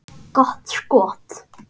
Gott skot.